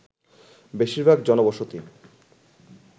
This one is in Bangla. বেশিরভাগ জনবসতি